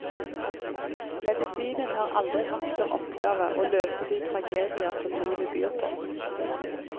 Medisinen har aldri hatt som oppgave å løse de tragedier som livet byr på.